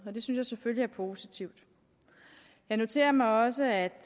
det synes jeg selvfølgelig er positivt jeg noterer mig også at